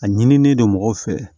A ɲinilen don mɔgɔw fɛ